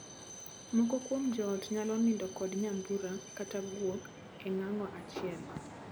Moko kuom joot nyalo nindo kod nyambura kata guok e ng'ango achiel.